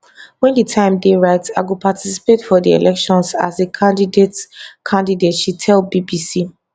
wen di time dey right i go participate for di elections as a candidate candidate she tell bbc